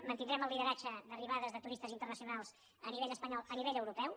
mantindrem el lideratge d’arribades de turistes internacionals a nivell espanyol a nivell europeu